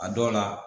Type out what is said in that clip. A dɔw la